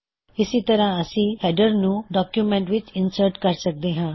ਇਸੀ ਤਰਹ ਅਸੀ ਹੈਡਰ ਨੂੰ ਡੌਕਯੁਮੈੱਨਟ ਵਿੱਚ ਇਨਸਰਟ ਕਰ ਸਕਦੇ ਹਾਂ